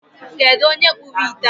Kedụ onye kpụrụ ite a?